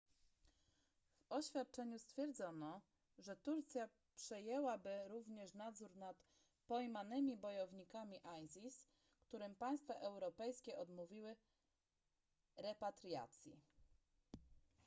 w oświadczeniu stwierdzono że turcja przejęłaby również nadzór nad pojmanymi bojownikami isis którym państwa europejskie odmówiły repatriacji